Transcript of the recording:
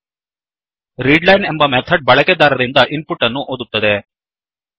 readLineರೀಡ್ line ಎಂಬ method ಬಳಕೆದಾರರಿಂದ input ಅನ್ನು ಓದುತ್ತದೆ